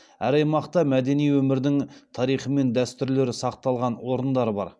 әр аймақта мәдени өмірдің тарихы мен дәстүрлері сақталған орындар бар